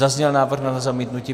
Zazněl návrh na zamítnutí?